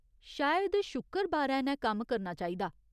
शायद शुक्करबारै नै कम्म करना चाहिदा।